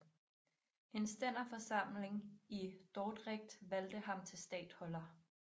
En stænderforsamling i Dordrecht valgte ham til statholder